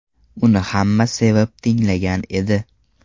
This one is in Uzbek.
Uni hamma sevib tinglagan edi.